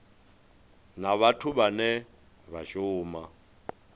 na vhathu vhane vha shuma